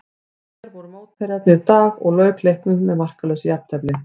Svíar voru mótherjarnir í dag og lauk leiknum með markalausu jafntefli.